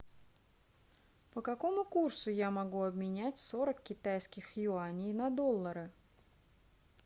по какому курсу я могу обменять сорок китайских юаней на доллары